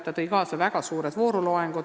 See tõi kaasa väga suured vooruloengud.